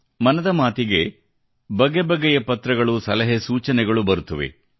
ಮನದ ಮಾತಿಗೆ ಬಗೆ ಬಗೆಯ ಪತ್ರಗಳು ಸಲಹೆ ಸೂಚನೆಗಳು ಬರುತ್ತವೆ